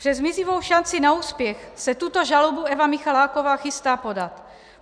Přes mizivou šanci na úspěch se tuto žalobu Eva Michaláková chystá podat.